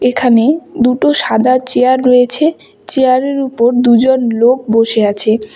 এখানে দুটো সাদা চেয়ার রয়েছে চেয়ার -এর উপর দুজন লোক বসে আছে।